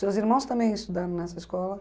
Seus irmãos também estudaram nessa escola?